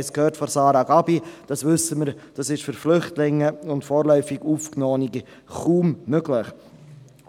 Eine Verpflichtung, für den eigenen Lebensunterhalt aufzukommen, ist für Flüchtlinge und vorläufig Aufgenommene kaum möglich,